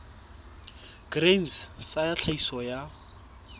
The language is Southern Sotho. grain sa ya tlhahiso ya